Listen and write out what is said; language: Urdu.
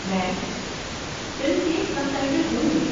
میم، فلم کے سب ٹائٹل ہوں گے۔